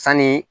Sanni